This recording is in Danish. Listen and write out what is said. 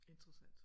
Interessant